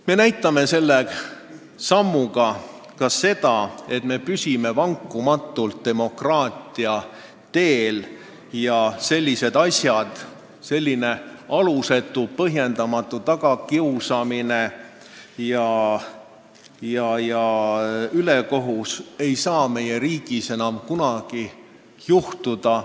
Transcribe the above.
Me näitame selle sammuga ka seda, et me püsime vankumatult demokraatia teel ning et sellised asjad – selline alusetu, põhjendamatu tagakiusamine ja ülekohus – ei saa meie riigis enam kunagi juhtuda.